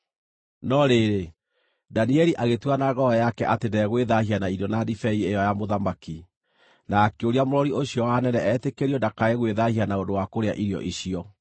No rĩrĩ, Danieli agĩtua na ngoro yake atĩ ndegwĩthaahia na irio na ndibei ĩyo ya mũthamaki, na akĩũria mũrori ũcio wa anene etĩkĩrio ndakae gwĩthaahia na ũndũ wa kũrĩa irio icio.